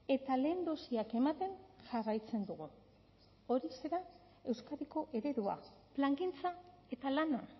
eta lehen dosiak ematen jarraitzen dugu horixe da euskadiko eredua plangintza eta lana